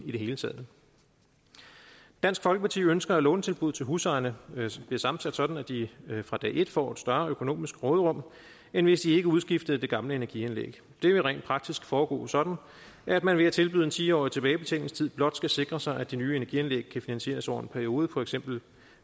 i det hele taget dansk folkeparti ønsker at lånetilbuddet til husejerne bliver sammensat sådan at de fra dag et får et større økonomisk råderum end hvis de ikke udskiftede det gamle energianlæg det vil rent praktisk foregå sådan at man ved at tilbyde en ti årig tilbagebetalingstid blot skal sikre sig at de nye energianlæg kan finansieres over en periode for eksempel